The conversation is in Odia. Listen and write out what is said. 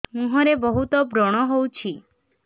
ମୁଁହରେ ବହୁତ ବ୍ରଣ ହଉଛି